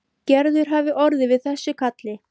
Gerður hafi orðið við þessu kalli.